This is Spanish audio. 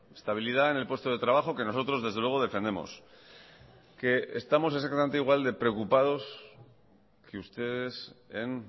estabilidad en el puesto de trabajo que nosotros desde luego defendemos que estamos exactamente igual de preocupados que ustedes en